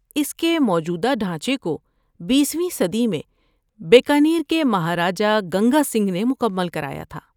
اس کے موجودہ ڈھانچے کو بیسویں صدی میں بیکانیر کے مہاراجہ گنگا سنگھ نے مکمل کرایا تھا۔